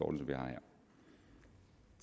om jeg